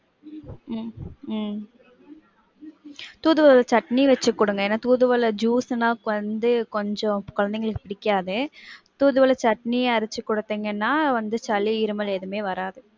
உம் உம் தூதுவள சட்னி வச்சி குடுங்க. ஏனா தூதுவள juice னா குழந்தைய கொஞ்சம் குழந்தைங்களுக்கு பிடிக்காது. தூதுவள சட்னி அரச்சி குடுத்திங்கனா வந்து சளி இருமல் எதுவுமே வராது.